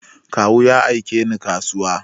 Kawu ya aike ni kasuwa.